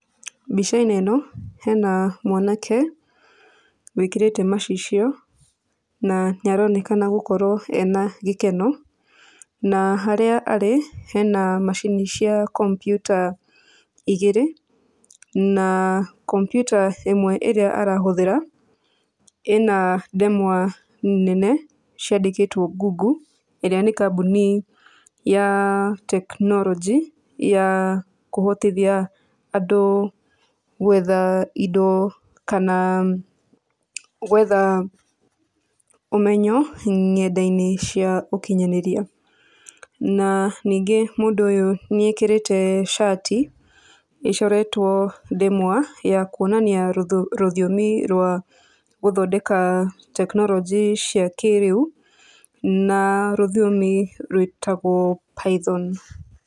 Mbica-inĩ ĩno, hena mwanake, wĩkĩrĩte macicio, na nĩ aronekana gũkorwo ena gĩkeno. Na harĩa arĩ, hena macini cia kompiuta igĩrĩ, na kompiuta ĩmwe ĩrĩa arahũthĩra, ĩna ndemwa nene, ciandĩkĩtwo Google, ĩrĩa nĩ kambuni ya tekinoronjĩ, ya kũhotithia andũ gwetha indo, kana gwetha ũmenyo, nyenda-inĩ cia ũkinyanĩria. Na ningĩ mũndũ ũyũ nĩ ekĩrĩte cati, ĩcoretwo ndemwa ya kuonania rũthiũmi rwa gũthondeka tekinoronjĩ cia kĩrĩu. Na rũthiomi rwĩtagwo Python.